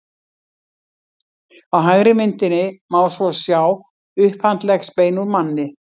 á hægri myndinni má svo sjá upphandleggsbein úr manni